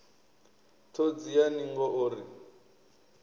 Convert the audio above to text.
ṱhodzi ya ningo o ri